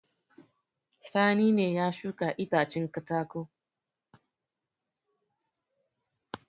Sani ne ya shuka itacen katako.